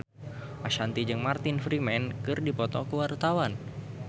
Ashanti jeung Martin Freeman keur dipoto ku wartawan